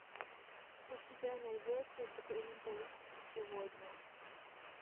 у тебя найдется документалистика сегодня